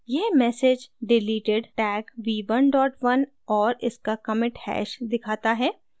यह message deleted tag v11 और इसका commit hash दिखाता है